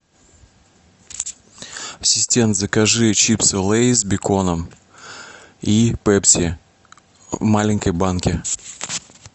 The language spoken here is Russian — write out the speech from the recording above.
ассистент закажи чипсы лейс с беконом и пепси в маленькой банке